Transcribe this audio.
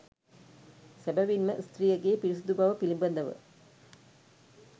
සැබැවින් ම ස්ත්‍රියගේ පිරිසිදුබව පිළිබඳ ව